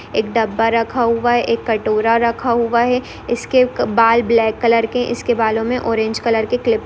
एक डब्बा रखा हुआ एक कटोरा रखा हुआ है इसके बाल ब्लैक कलर के इसके बालों में ऑरेंज कलर की क्लिप् --